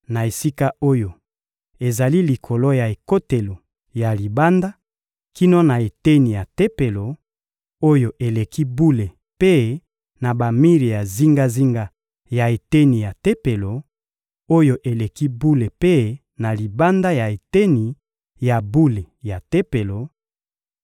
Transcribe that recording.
Na esika oyo ezali likolo ya ekotelo ya libanda kino na eteni ya Tempelo, oyo eleki bule mpe na bamir ya zingazinga ya eteni ya Tempelo, oyo eleki bule mpe na libanda ya eteni ya bule ya Tempelo,